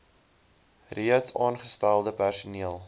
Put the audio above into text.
reeds aangestelde personeel